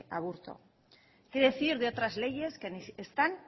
aburto qué decir de otras leyes que ni están ni